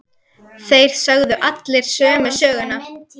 Þeir sögðu allir sömu söguna.